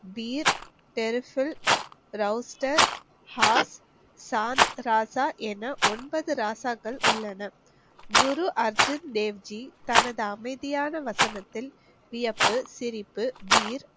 என ஒன்பது ராசாக்கள் உள்ளன குரு அர்ஜுன் தேவ் ஜி தனது அமைதியான வசனத்தில் வியப்பு, சிரிப்பு,